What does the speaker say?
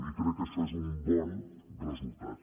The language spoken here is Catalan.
i crec que això és un bon resultat